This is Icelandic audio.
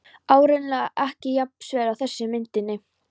Áreiðanlega ekki jafn sver og þessi á myndinni.